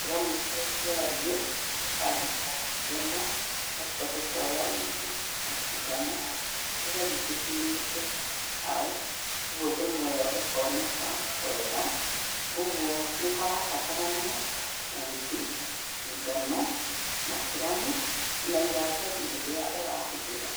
kĩramu kĩrĩa kĩariĩ, tũkaandĩka ndemwa, tũgacoka tũkoya uthi na sindano, tũgathi tũtumĩte hau, kwoguo ndemwa ĩyo ĩkoneka wega. Kwoguo nĩ harabatarania uthi, sindano, na kĩramu na iratathi rĩrĩa ũrahũthĩra